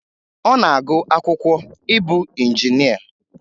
Ọ na-agụ akwụkwọ ịbụ injinịa